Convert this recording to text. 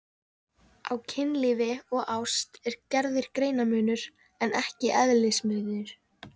Á kynlífi og ást er gerður greinarmunur en ekki eðlismunur.